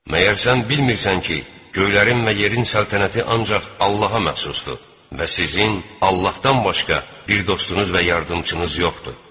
Məgər sən bilmirsən ki, göylərin və yerin səltənəti ancaq Allaha məxsusdur və sizin Allahdan başqa bir dostunuz və yardımçınız yoxdur?